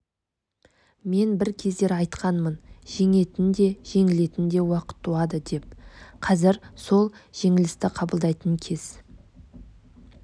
мен бір кездері айтқанмын жеңетін де жеңілетін де уақыт туады деп қазір сол жеңілісті қабылдайтын кез